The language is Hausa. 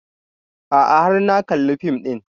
A'a har na kalla fim ɗin